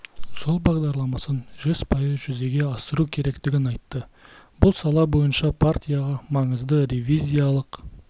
жол бағдарламасын жүз пайыз жүзеге асыру керектігін айтты бұл сала бойынша да партияға маңызды ревизиялық